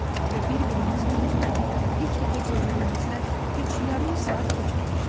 Və bir-birimizin üzünü ilk dəfə görməyimizdən heç yarım saat keçməmişdi.